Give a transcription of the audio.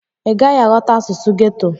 Ị gaghị aghọta asụsụ geto.